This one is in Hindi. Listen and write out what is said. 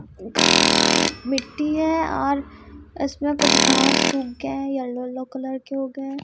मिट्टी है और इसमें कुछ घास सूख गया है या येलो येलो कलर के हो गए हैं।